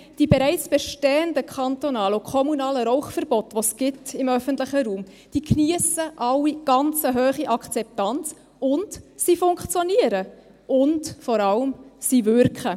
Die bereits bestehenden kantonalen und kommunalen Rauchverbote, die es im öffentlichen Raum gibt, geniessen alle eine sehr hohe Akzeptanz, sie funktionieren und vor allem – sie wirken.